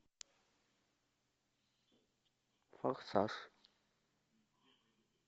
форсаж